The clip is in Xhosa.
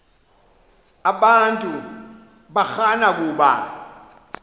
abantu barana kuba